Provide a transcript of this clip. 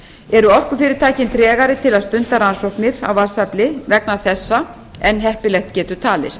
eru orkufyrirtækin tregari til að stunda rannsóknir á vatnsafli vegna þessa en heppilegt getur talist